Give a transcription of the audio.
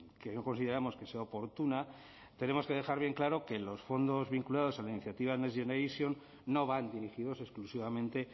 que no consideramos que sea oportuna tenemos que dejar bien claro que los fondos vinculados a iniciativa next generation no van dirigidos exclusivamente